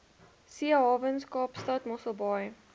seehawens kaapstad mosselbaai